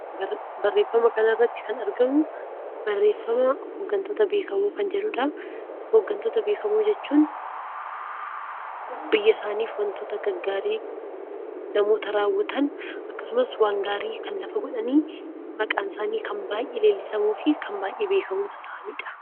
Barreeffama kan irratti kan argamu, barreeffama hooggantoota bebbeekamoo jedhudha. Hooggantoota bebbeekamoo jechuun biyya isaaniif waantota gaggaarii namoota raawwatan, akkasumas waan gaarii lafa godhanii maqaan isaanii baayyee leellifamuu fi kan baayyee beekamoo ta'anidha.